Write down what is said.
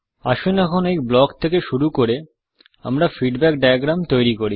আসুন এখন এই ব্লক থেকে শুরু করে আমরা ফীডবেক ডায়াগ্রাম তৈরি করি